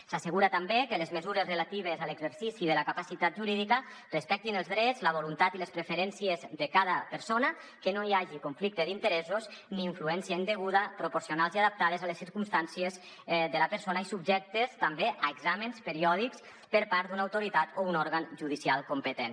s’assegura també que les mesures relatives a l’exercici de la capacitat jurídica respectin els drets la voluntat i les preferències de cada persona que no hi hagi conflicte d’interessos ni influència indeguda proporcionals i adaptades a les circumstàncies de la persona i subjectes també a exàmens periòdics per part d’una autoritat o un òrgan judicial competent